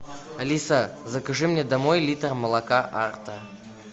алиса закажи мне домой литр молока арта